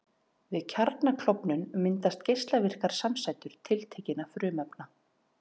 Við kjarnaklofnun myndast geislavirkar samsætur tiltekinna frumefna.